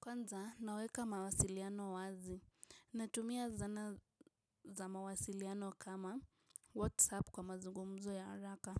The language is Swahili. Kwanza, naweka mawasiliano wazi. Natumia zana za mawasiliano kama WhatsApp kwa mazugumzo ya haraka.